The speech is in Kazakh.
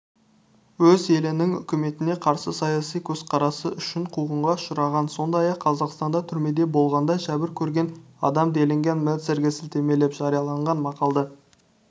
өз елінің үкіметіне қарсы саяси көзқарасы үшін қуғынға ұшыраған сондай-ақ қазақстанда түрмеде болғанда жәбір көрген адам делінген мельцерге сілтемелеп жарияған мақалада